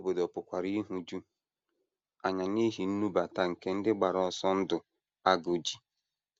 Ndị obodo pụkwara ịhụju anya n’ihi nnubata nke ndị gbara ọsọ ndụ agụụ ji.